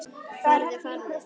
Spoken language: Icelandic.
Farðu, farðu.